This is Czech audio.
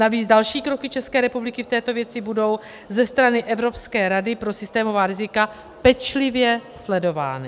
Navíc další kroky České republiky v této věci budou ze strany Evropské rady pro systémová rizika pečlivě sledovány.